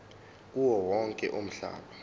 kuwo wonke umhlaba